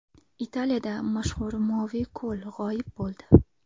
Italiyada mashhur Moviy ko‘l g‘oyib bo‘ldi.